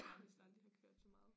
Nærmest aldrig har kørt så meget